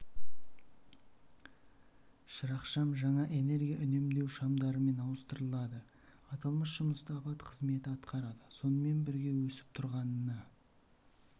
шырақшам жаңа энергия үнемдеу шамдарымен ауыстырылады аталмыш жұмысты апат қызметі атқарады сонымен бірге өсіп тұрғанына